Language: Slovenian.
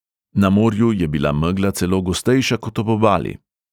Na morju je bila megla celo gostejša kot ob obali.